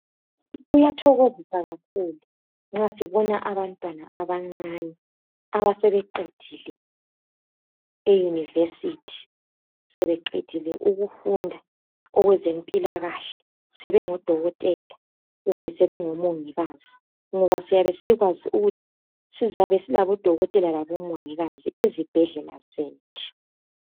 Kuyathokozisa kakhulu nxa sibona abantwana abancane abasebeqedile eyunivesithi. Sebeqedile ukufunda okwezempilakahle sebengodokotela kumbe sebe ngomongikazi ngoba siyabe sikwazi ukuthi sizabe silabodokotela labomongikazi ezibhedlela zethu.